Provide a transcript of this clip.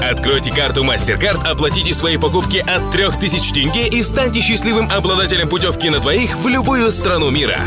откройте карту мастеркарт оплатите свои покупки от трех тысяч тенге и станьте счастливым обладателем путевки на двоих в любую страну мира